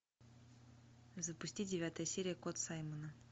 запусти девятая серия кот саймона